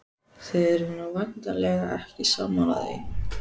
Þið eruð nú væntanlega ekki sammála því?